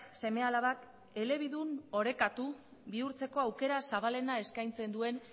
seme alabak elebidun orekatu bihurtzeko aukera zabalena eskaintzen duen